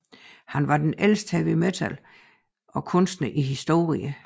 Han var den ældste heavy metal kunstner i historien